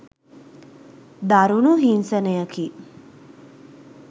දරුණු හිංසනයකි.